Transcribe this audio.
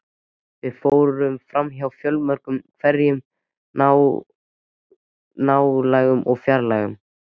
Við fórum framhjá fjölmörgum hverum, nálægum og fjarlægum.